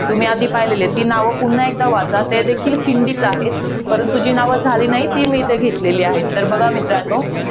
तुम्ही आधी पहिली आहेत, ती नावं पुन्हा वाचा, त्या देखील खिंडीच आहेत. परंतु, जी नावं झालेली नाहीत ती नावं मी इथे घेतलेली आहेत. तर बघा मित्रांनी,